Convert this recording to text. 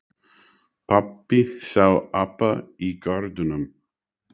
Pabbi sá apa í garðinum.